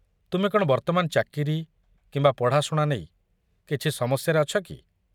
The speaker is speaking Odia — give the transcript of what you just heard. ତୁମେ କ'ଣ ବର୍ତ୍ତମାନ ଚାକିରି କିମ୍ବା ପଢ଼ାଶୁଣା ନେଇ କିଛି ସମସ୍ୟାରେ ଅଛ କି?